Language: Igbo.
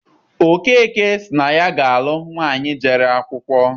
Okeke sị na ya ga-alụ nwaanyị jere akwụkwọ.